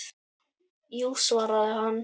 Jú svaraði hann.